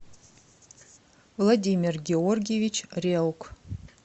владимир георгиевич реук